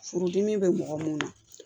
Furudimi bɛ mɔgɔ mun na